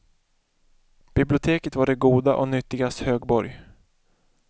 Biblioteket var det goda och nyttigas högborg.